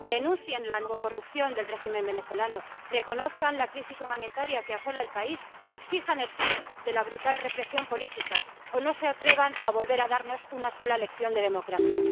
Denuncien la narcocorrupción del régimen venezolano, reconozcan la crisis humanitaria que asola el país, exijan el fin de la brutal represión política, o no se atrevan a volver a darnos una sola lección de democracia.